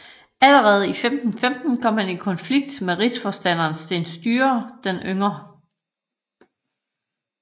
Allerede i 1515 kom han i konflikt med rigsforstanderen Sten Sture den yngre